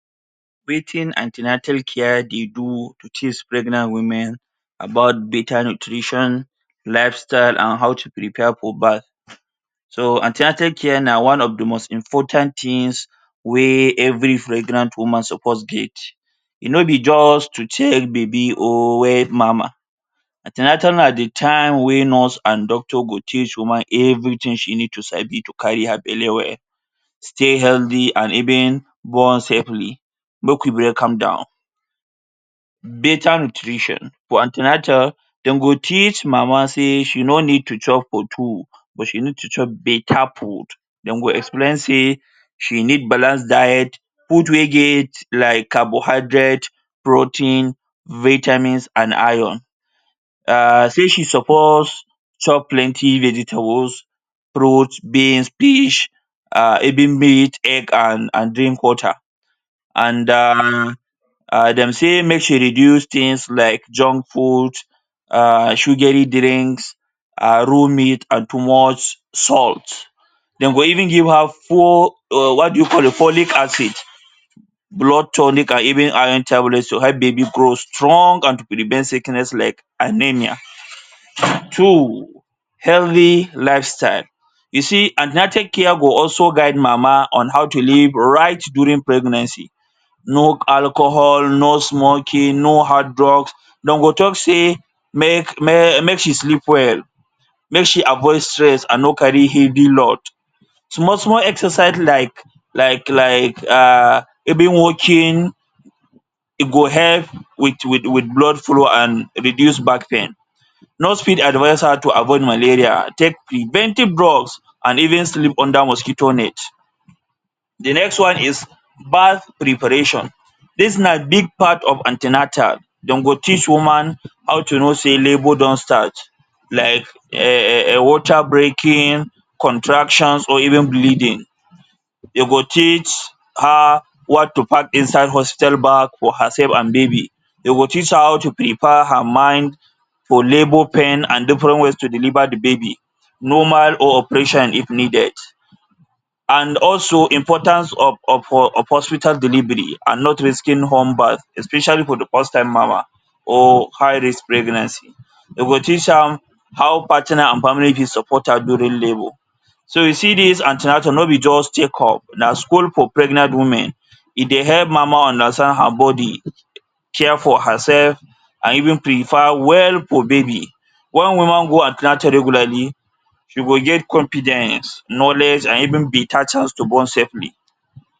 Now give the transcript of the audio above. Preaching an ten atal care teach pregnant women about better nutrition, lifestyle, and how to prepare for birth. So an ten atal care na one of di most important tins wey every pregnant woman suppose get. E no be just to check baby or weigh mama. An ten atal na di time wey nurse and doctor go teach woman everything she need to sabi to carry her belle well, stay healthy and even born safely. Make we break am down. Better Nutrition, for an ten atal, dem go teach mama sey she no need to chop for two, but she need to chop better food. Dem go explain say she need balanced diet, food wey get like carbohydrate, protein, vitamins, and iron, um sey she suppose chop plenty vegetables, fruit, beans, fish, um even meat, egg and and drink water, and um um dem sey make she reduce things like junk food, um sugary drinks, um raw meat and too much salt. Dem go even give her fo-, what do you call it? Folic acid, blood tonic, and even iron tablet to help di babi grow strong and prevent sickness like anaemia. Two, healthy lifestyle. You see an ten atal care go also guide mama on how to live right during pregnancy, no alcohol, no smoking, no hard drugs. Dem go tok sey make make she sleep well, make she avoid stress and no carry heavy load, small small exercise like like like um walking e go help wit wit wit blood flow and reduce back pain. Nurse fit advise her to avoid malaria, take preventive drugs and even sleep under mosquito net. Di next one is Birth Preparation. Dis na big part of an ten atal. Dem go teach woman how to know sey labour don start like um um water breaking, contractions, or even bleeding. Dem go teach her what to pack inside hospital bag for herself and babi. Dem go teach her how to prepare her mind for labour pain and different ways to deliver di babi, normal or operation if needed. And also, importance of of of hospital delivery, and not risking home birth especially for di first time mama or high risk pregnancy. Dem go teach am how partner and family go support her during labour. So you see dis an ten atal no be just checkup, na school for pregnant women. E dey help mama understand her bodi, care for herself, and even prepare well for babi. Wen woman go an ten atal regularly, e go get confidence, knowledge, and even better chance to born safely.